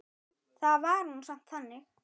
Það var nú samt þannig.